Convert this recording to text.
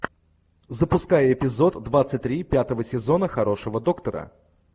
запускай эпизод двадцать три пятого сезона хорошего доктора